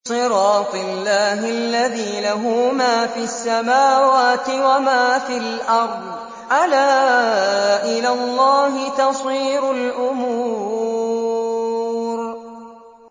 صِرَاطِ اللَّهِ الَّذِي لَهُ مَا فِي السَّمَاوَاتِ وَمَا فِي الْأَرْضِ ۗ أَلَا إِلَى اللَّهِ تَصِيرُ الْأُمُورُ